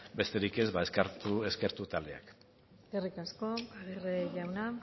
besterik ez eskertu taldeak eskerrik asko aguirre jauna